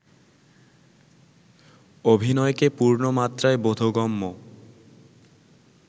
অভিনয়কে পূর্ণমাত্রায় বোধগম্য